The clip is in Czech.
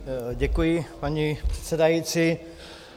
Děkuji, paní předsedající.